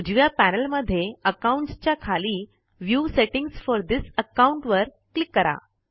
उजव्या पैनल मध्ये अकाउंट्स च्या खाली view settings for this account वर क्लिक करा